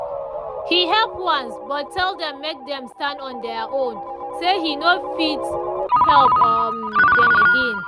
he help once but tell dem make dem stand on deir own say hin no fit help um dem again.